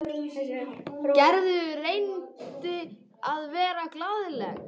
Gerður reyndi að vera glaðleg.